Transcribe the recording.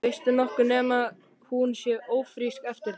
Veistu nokkuð nema hún sé ófrísk eftir þig?